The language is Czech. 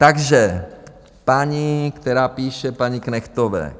Takže paní, která píše paní Knechtové.